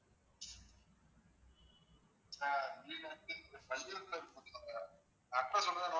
sir வீடு வந்து வள்ளியூர்ல இருக்கோம் sir address சொல்றேன் note